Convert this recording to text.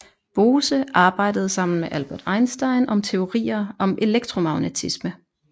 Bose arbejdede sammen med Albert Einstein om teorier om elektromagnetisme